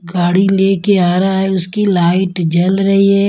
गाड़ी लेके आ रहा है उसकी लाइट जल रही है।